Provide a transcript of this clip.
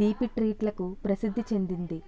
తీపి ట్రీట్లకు ప్రసిద్ధి చెందింది